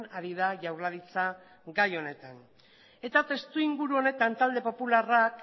ari da jaurlaritza gai honetan eta testuinguru honetan talde popularrak